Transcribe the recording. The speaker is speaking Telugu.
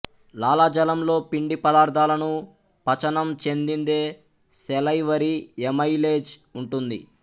లాలాజలంలో పిండి పదార్థాలను పచనం చెందిందే సెలైవరీ ఎమైలేజ్ ఉంటుంది